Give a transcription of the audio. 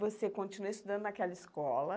Você continuou estudando naquela escola.